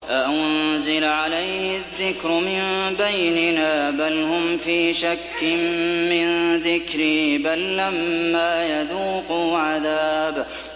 أَأُنزِلَ عَلَيْهِ الذِّكْرُ مِن بَيْنِنَا ۚ بَلْ هُمْ فِي شَكٍّ مِّن ذِكْرِي ۖ بَل لَّمَّا يَذُوقُوا عَذَابِ